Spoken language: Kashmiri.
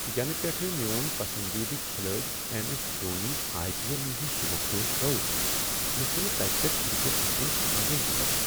یینہٕ پیٹھ میون پسندیدٕ کھلٲڑۍ M. S. Dhoni I. P. L نش سبکدوش گوٚو، مےٚ چھنہٕ تنہ پیٹھٕ کرکٹ وچھنس مزٕ یوان۔